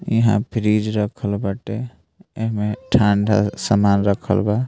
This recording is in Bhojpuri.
इहां फ्रिज रखल बाटे | एहमे ठंडा सामान रखल बा |